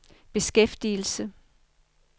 beskæftigelse